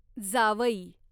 जावई